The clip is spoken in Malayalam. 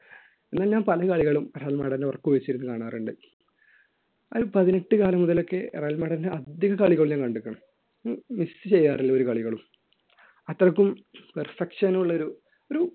പിന്നെ ഞാൻ പല കളികളും റയൽ മാഡ്രിഡ് ഉറക്കമളച്ച് ഇരുന്ന് കാണാറുണ്ട് ഒരു പതിനെട്ട് കാലം മുതലൊക്കെ റയൽ മാഡ്രിഡ് അധികം കളികൾ ഞാൻ കണ്ടിട്ടുണ്ട് miss ചെയ്യാറില്ല ഒരു കളികളും അത്രയ്ക്കും perfection ഉള്ള ഒരു ഒരു